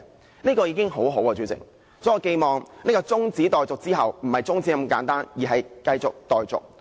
主席，這樣已經很好了，所以，我寄望這項中止待續議案之後，不是中止這麼簡單，而是繼續待續。